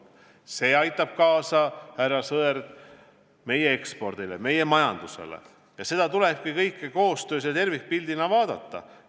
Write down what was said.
See aitab kaasa, härra Sõerd, meie ekspordile, meie majandusele ja seda tulebki kõike tervikpildina vaadata.